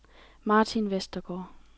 Martin Westergaard